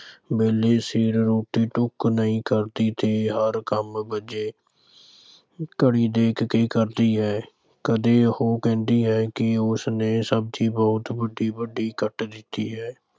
ਵੇਲੇ ਸਿਰ ਰੋਟੀ-ਟੁੱਕ ਨਹੀਂ ਕਰਦੀ ਤੇ ਹਰ ਕੰਮ ਘੜੀ ਵੇਖ ਕੇ ਕਰਦੀ ਹੈ। ਕਦੇ ਉਹ ਕਹਿੰਦੀ ਹੈ ਕਿ ਉਸਨੇ ਸਬਜ਼ੀ ਬਹੁਤ ਵੱਡੀ-ਵੱਡੀ ਕੱਟ ਦਿੱਤੀ ਹੈ।